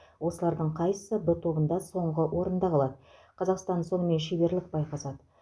осылардың қайсысы в тобында соңғы орында қалады қазақстан сонымен шеберлік байқасады